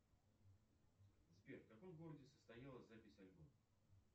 сбер в каком городе состоялась запись альбома